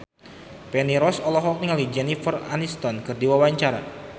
Feni Rose olohok ningali Jennifer Aniston keur diwawancara